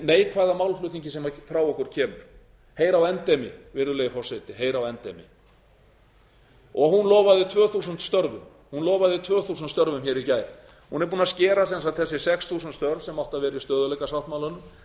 neikvæða málflutningi sem frá okkur kemur heyr á endemi virðulegi forseti heyr á endemi hún lofaði tvö þúsund störfum í gær hún er búin að skera sem sagt þessi sex þúsund störf sem áttu að vera í stöðugleikasáttmálanum